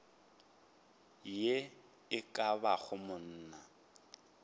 ye e ka bago monna